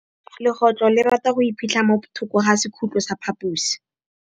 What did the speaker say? Legôtlô le rata go iphitlha mo thokô ga sekhutlo sa phaposi.